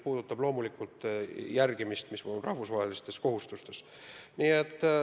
Samas, loomulikult tuleb järgida ka rahvusvahelisi kohustusi.